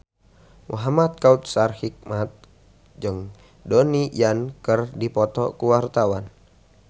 Muhamad Kautsar Hikmat jeung Donnie Yan keur dipoto ku wartawan